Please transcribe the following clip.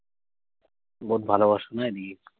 ভালো না এইদিকে।